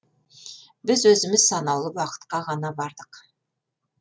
біз өзіміз санаулы уақытқа ғана бардық